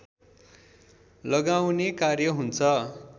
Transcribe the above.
लगाउने कार्य हुन्छ